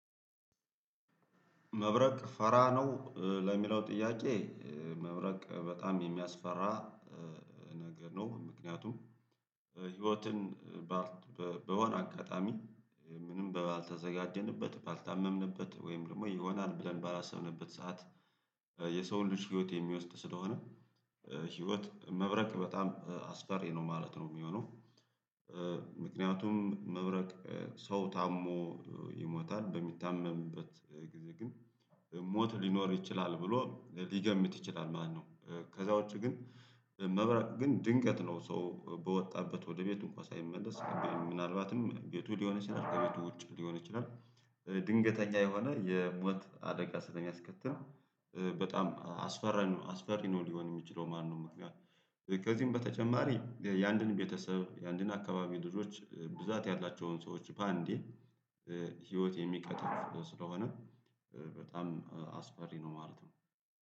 መብረቅ ፈራ ነው ለሚለው ጥያቄ? መብረቅ በጣም የሚያስፈራ ነገር ነው። ምክንያቱም ህይወትን በሆነ አጋጣሚ ምንም ባልተዘጋጀንበት ባልታመምንበት ወይም ደግሞ ይሆናል ብለን ባላሰብንበት ሰዓት። የሰው ልጅ ህይወት የሚወስድ ስለሆነ ህይወት መብረቅ በጣም አስፈሪ ነው ማለት ነው የሚሆነው። ምክንያቱም መብረቅ ሰው ታሞ ይሞታል በሚታመምበት ጊዜ ግን ሞት ሊኖር ይችላል ብሎ ሊገምት ይችላል ማለት ነው። ከዛ ውጪ ግን መብራቅ ግን ድንገት ነው ሰው በወጣበት ወደ ቤቱ እንኳን ሳይመለስ ምናልባትም ቤቱ ሊሆን ይችላል ከቤቱ ውጭ ሊሆን ይችላል። ድንገተኛ የሆነ የሞት አደጋ ስለሚያስከትልም በጣም አስፈሪ ነው አስፈሪ ነው ሊሆን የሚችለው ማለት ነው። ከዚህም በተጨማሪ የኣንድን ቤተሰብ የኣንድን አካባቢ ልጆች ብዛት ያላቸውን ሰዎች በአንዴ። ህይወት የሚቀትል ስለሆነ በጣም አስፈሪ ነው ማለት ነው